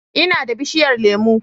Ina da bishiyar lemu